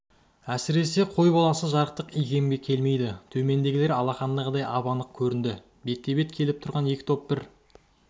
әсіресе қой баласы жарықтық икемге келмейді төмендегілер алақандағыдай ап-анық көрінді бетпе-бет келіп тұрған екі топ бір